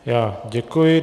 Já děkuji.